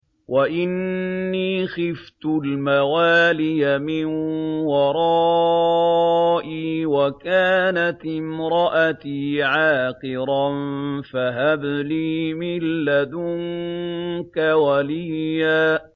وَإِنِّي خِفْتُ الْمَوَالِيَ مِن وَرَائِي وَكَانَتِ امْرَأَتِي عَاقِرًا فَهَبْ لِي مِن لَّدُنكَ وَلِيًّا